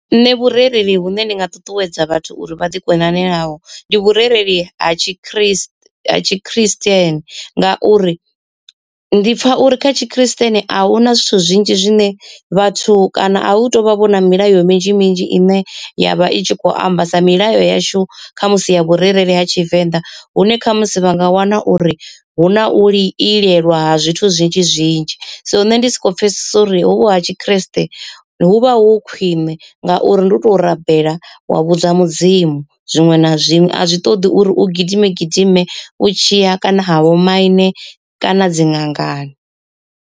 Nṋe vhurereli vhune ndi nga ṱuṱuwedza vhathu uri vha ḓi konane naho ndi vhurereli ha tshikriste ha tshikristieni, ngauri ndi pfa uri kha tshikristieni a huna zwithu zwinzhi zwine vhathu kana a hu tou vha vhona milayo minzhi minzhi ine ya vha i tshi kho amba sa milayo yashu khamusi ya vhurereli ha tshivenḓa. Hune khamusi vha nga wana uri hu na u ilelwa ha zwithu zwinzhi zwinzhi, so nṋe ndi soko pfesesa uri hovhu ha tshikriste hu vha hu khwine ngauri ndi u to rabela wa vhudza mudzimu zwiṅwe na zwiṅwe a zwi ṱoḓi uri u gidime gidime u tshiya kana ha vhomaine kana dziṅangani.